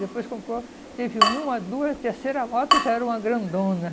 Depois comprou, teve uma, duas, terceira moto, já era uma grandona.